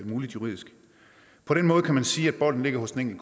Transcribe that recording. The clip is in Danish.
muligt juridisk på den måde kan man sige at bolden ligger hos den